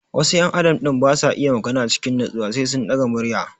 Wasu ƴan adam din basa iya magana cikin natsuwa sai sun ɗaga murya